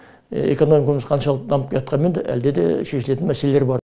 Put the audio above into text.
экономикамыз қаншалықты дамып келатқанмен де әлде де шешілетін мәселелер бар